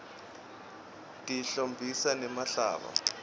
tihlobisa nemhlaba